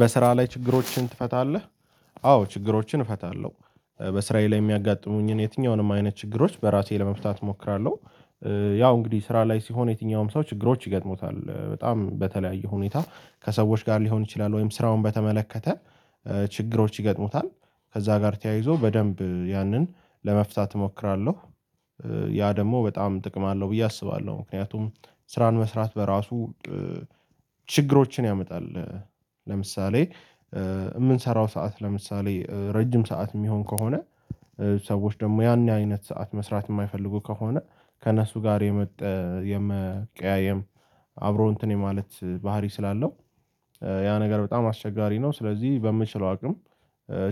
በስራ ላይ ችግሮችን ትፈታለህ? አዎ ችግሮችን እፈታለሁ በስራዬ ላይ የሚያጋጥሙኝን የትኛውንም አይነት ችግሮች በራሴ ለመፍታት እሞክራለሁ። ያው እንግዲህ ስራ ላይ ሲሆን የትኛውም ሰው ችግሮች ይገጥሙታል በጣም በተለያዩ ሁኔታ ከሰዎች ጋር ሊሆን ይችላል ወይም ስራውን በተመለከተ ችግሮች ይገጥሙታል። ከዛ ጋር ተያይዞ በደንብ ያንን ለመፍታት እሞክራለሁ። ያ ደግሞ በጣም ጥቅም አለው ብዬ አስባለሁ። ምክንያቱም ስራን መስራት በራሱ ችግሮችን ያመጣል። ለምሳሌ የምንሰራው ሰዓት ለምሳሌ ረጅም ሰዓት የሚሆን ከሆነ። ሰዎች ደግሞ ያን አይነት ሰዓት መስራት የማይፈልጉ ከሆነ ከእነሱ ጋር የመቀያየም አብሮ እንትን የማለት ባህሪ ስላለው። ያ ነገር በጣም አስቸጋሪ ነው። ስለዚህ በምችለው አቅም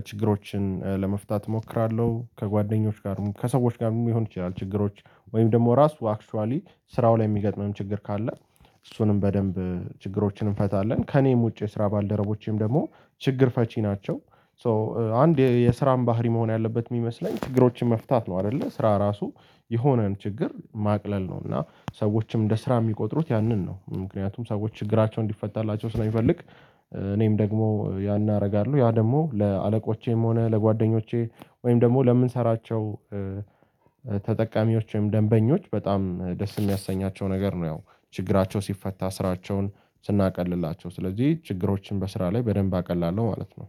ችግሮችን ለመፍታት እሞክራለሁ። ከጓደኞች ጋርም ከሰዎች ጋርም የሚሆን ይችላል ችግሮች ወይም ደግሞ ራሱ አክችዋሊ ስራው ላይ የሚገጥመን ችግር ካለ። እሱንም በደንብ ችግሮችን እንፈታለን ከኔም ውጪ የስራ ባልደረቦቼም ደግሞ ችግር ፈቺ ናቸው። ሶ አንድ የስራን ባህሪ መሆን ያለበት የሚመስለኝ ችግሮችን መፍታት ነው። አይደለ ስራ ራሱ የሆነን ችግር ማቅለል ነው። እና ሰዎችም እንደ ስራ የሚቆጥሩት ያንን ነው ምክንያቱም ሰዎች ችግራቸው እንዲፈታላቸው ስለሚፈልግ። እኔም ደግሞ ያን አደርጋለሁ ያ ደግሞ ለአለቆቼም ሆነ ለጓደኞቼ ወይም ደግሞ ለምንሰራቸው ተጠቃሚዎች ወይም ደንበኞች በጣም ደስ የሚያሰኛቸው ነገር ነው። ያው ችግራቸው ሲፈታ ስራቸውን ስናቀልላቸው ስለዚህ ችግሮችን በስራ ላይ በደንብ አቀላለው ማለት ነው